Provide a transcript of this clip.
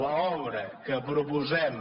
l’obra que proposem